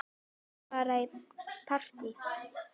Má ég fara í partí?